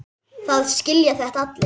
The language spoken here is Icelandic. Það skilja þetta allir.